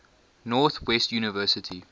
north west university